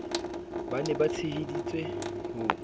ba ne ba tsheheditse ho